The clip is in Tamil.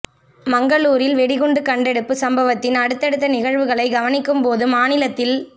மங்களூரில் வெடிகுண்டு கண்டெடுப்பு சம்பவத்தின் அடுத்தடுத்த நிகழ்வுகளைக் கவனிக்கும் போது மாநிலத்தில்